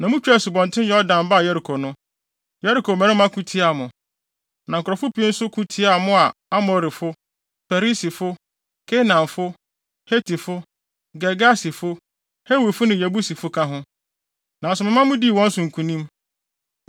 “Na mutwaa Asubɔnten Yordan baa Yeriko no, Yeriko mmarima ko tiaa mo. Na nkurɔfo pii nso ko tiaa mo a Amorifo, Perisifo, Kanaanfo, Hetifo, Girgasifo, Hewifo ne Yebusifo ka ho. Nanso mema mudii wɔn so nkonim.